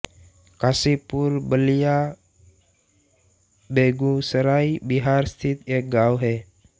कासीपुर बलिया बेगूसराय बिहार स्थित एक गाँव है